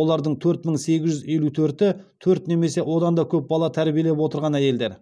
олардың төрт мың сегіз жүз елу төрті төрт немесе одан да көп бала тәрбиелеп отырған әйелдер